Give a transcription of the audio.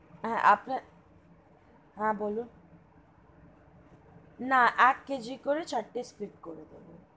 হা হা বলুন না এক KG করে চারটে Split করে দেবেন।